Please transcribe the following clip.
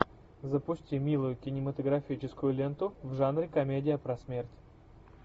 запусти милую кинематографическую ленту в жанре комедия про смерть